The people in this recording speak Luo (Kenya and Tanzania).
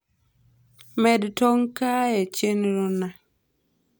med tong` kaae chenro na